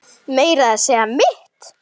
Meira að segja mitt